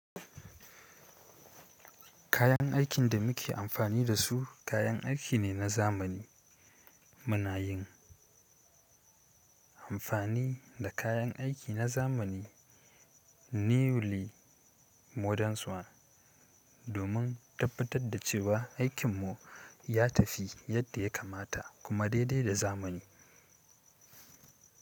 Kayan aikin da muke amfani da su kayan aiki ne na zamani. Mu na yin amfani da kayan aiki na zamani. Newly modern ones domin tabbatar da cewa aikinmu ya tafi yadda ya kamata kuma dai dai da zamani.